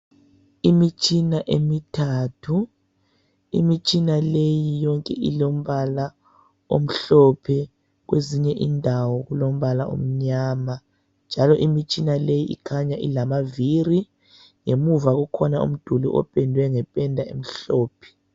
Imitshina emithathu. Imitshina leyi yonke ilombala omhlophe, kwezinye indawo kulombala omnyama. Njalo imitshina le ikhanya ilamaviri. Ngemuva kukhona umduli opendwe ngependa emhlophe.